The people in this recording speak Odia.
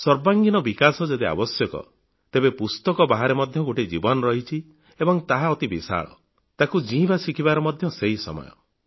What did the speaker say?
ସର୍ବାଙ୍ଗୀନ ବିକାଶ ଯଦି ଆବଶ୍ୟକ ତେବେ ପୁସ୍ତକ ବାହାରେ ମଧ୍ୟ ଗୋଟିଏ ଜୀବନ ରହିଛି ଏବଂ ତାହା ଅତି ବିଶାଳ ତାକୁ ଜୀଇଁବା ଶିଖିବାର ମଧ୍ୟ ସେହି ସମୟ